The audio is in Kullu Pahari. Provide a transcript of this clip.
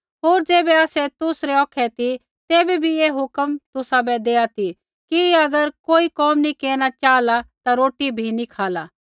होर ज़ैबै आसै तुसरै औखै ती तैबै बी ऐ हुक्म तुसाबै देआ ती कि अगर कोई कोम नी केरना चाहला ता रोटी भी नी खाला